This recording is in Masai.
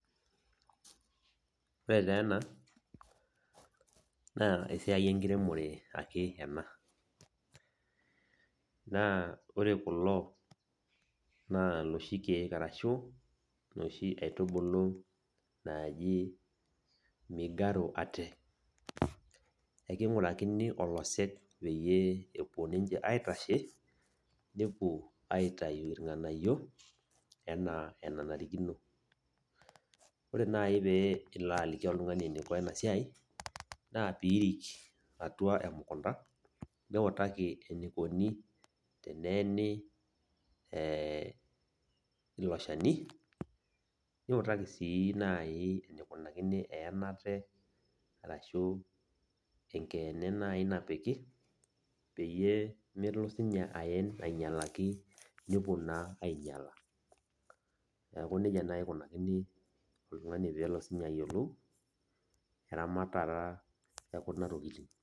Ore taa ena naa esiai enkiremore ake ena naa ore kulo naa iloshi keek arashu inoshi aitubulu ooji migaru ate eking'urakini olosek epuo ninche aitashe nepuo aitayu irng'anayio enaa enanarikino, ore naai pee ilo aliki oltung'ani eniko ena siai naa piirik atua emukunda niutaki enikoni teneeni ee ilo shani niutaki sii naai enikunakini eenata arashu enkeene naai napiki peyie melo sininye aen ainyialaki nepuo naa ainyiala, neeku nijia naai ikunakini oltung'ani pee elo siinye ayiolou eramatata ekuna tokitin.